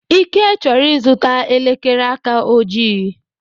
Ike chọrọ ịzụta elekere aka ojii.